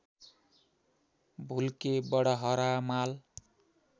भुल्के बडहरामाल